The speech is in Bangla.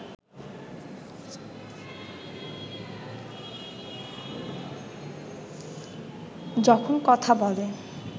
যখন কথা বলে